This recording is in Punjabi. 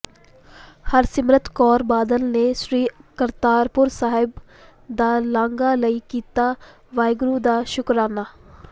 ਹਰਸਿਮਰਤ ਕੌਰ ਬਾਦਲ ਨੇ ਸ੍ਰੀ ਕਰਤਾਰਪੁਰ ਸਾਹਿਬ ਦਾ ਲਾਂਘਾ ਲਈ ਕੀਤਾ ਵਾਹਿਗੁਰੂ ਦਾ ਸ਼ੁਕਰਾਨਾ